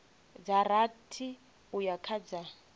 dza rathi uya kha dza